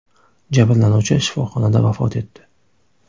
Jabrlanuvchi shifoxonada vafot etdi.